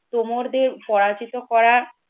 তোমরদের পরাজিত করা